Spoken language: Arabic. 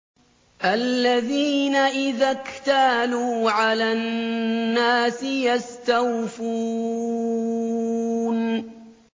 الَّذِينَ إِذَا اكْتَالُوا عَلَى النَّاسِ يَسْتَوْفُونَ